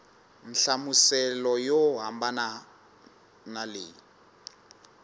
nhlamuselo yo hambana na leyi